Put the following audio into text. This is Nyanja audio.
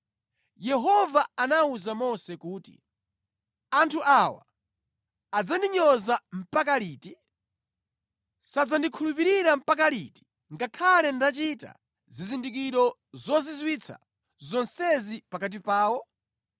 Yehova anawuza Mose kuti, “Anthu awa adzandinyoza mpaka liti? Sadzandikhulupirira mpaka liti, ngakhale ndachita zizindikiro zozizwitsa zonsezi pakati pawo?